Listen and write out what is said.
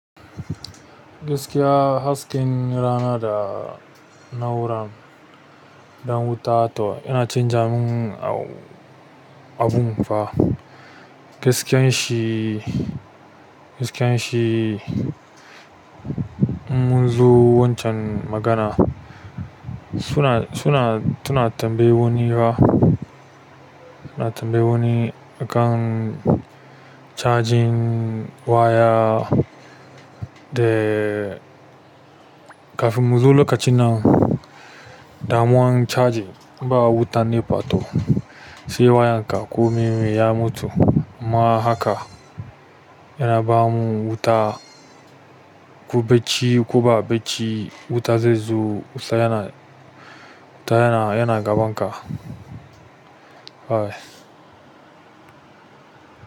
Gaskiya hasken rana da na'urar dan wuta to yana canja mun a-abun fa. Gaskiyan shi, gaskiyan shi munzo wancan magana su na, su na, suna tambayi wani ba, suna tambayi wani a kan charging waya da kafin mu zo lokacin nan damuwan charging ba wuta nefa to sai wayan ka ko me ya mutu. Kuma hakan yana bamu wuta ko bacci ko ba bacci wuta zai zo wuta yana gaban ka.